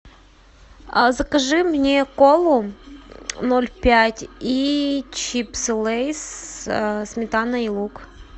закажи мне колу ноль пять и чипсы лейз сметана и лук